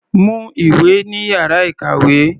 Mú ìwé ní ìyára ìkàwé.